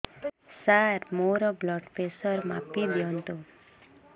ସାର ମୋର blood pressure ମାପି ଦିଅନ୍ତୁ